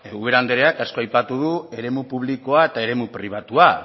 ubera andreak asko aipatu du eremu publikoa eta eremu pribatua